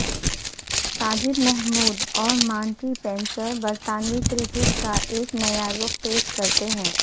ساجد محمود اور مانٹی پینسر برطانوی کرکٹ کا ایک نیا رخ پیش کرتے ہیں